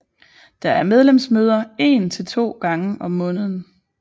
Der er medlemsmøder én til to gange om måneden